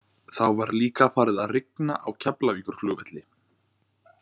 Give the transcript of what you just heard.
Þá var líka farið að rigna á Keflavíkurflugvelli.